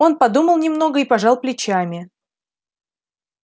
он подумал немного и пожал плечами